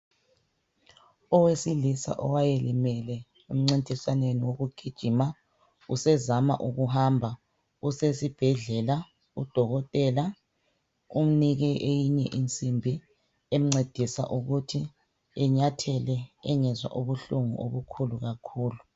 Owesilisa owayelimele emncintiswaneni wokugijima usezama ukuhamba usesibhedlela udokotela umnike eyinye insimbi emncedisa ukuthi enyathele engezwa ubuhlungu obukhulu kakhulu.